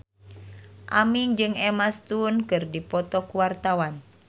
Aming jeung Emma Stone keur dipoto ku wartawan